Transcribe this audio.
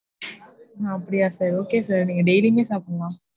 ஆஹ் அப்டியா sir நீங்க daily யுமே சாப்பிடலாம்.